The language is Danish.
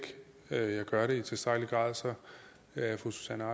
jeg gør det i tilstrækkelig grad er fru susanne